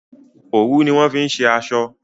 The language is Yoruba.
òwu ni wón fí ṣe aṣọ.